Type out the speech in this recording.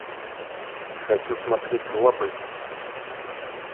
хочу смотреть лапы